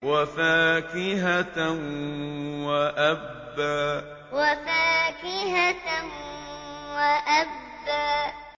وَفَاكِهَةً وَأَبًّا وَفَاكِهَةً وَأَبًّا